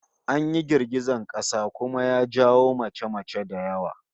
An yi girgizar kasa kuma ya jawo mace-mace da yawa